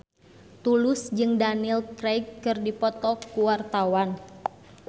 Tulus jeung Daniel Craig keur dipoto ku wartawan